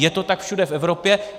Je to tak všude v Evropě.